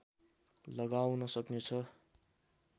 लगाउन सक्नेछ